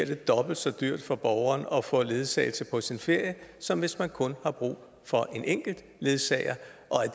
det dobbelt så dyrt for borgeren at få ledsagelse på sin ferie som hvis man kun har brug for en enkelt ledsager